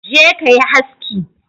Je kayi haski